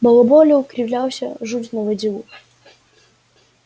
балаболил кривлялся жуть наводил